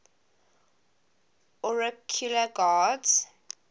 oracular gods